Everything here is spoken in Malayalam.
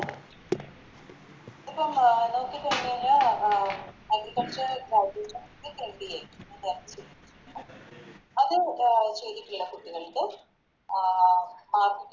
Agriculture അത് അഹ് ചെയ്തിട്ട്ള്ള കുട്ടികൾക്ക് ആഹ്